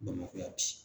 Bamakɔ yan bi